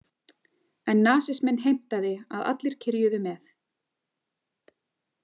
En nasisminn heimtaði að allir kyrjuðu með.